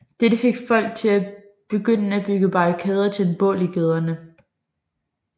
Dette fik folk til at begynde at bygge barrikader og tænde bål i gaderne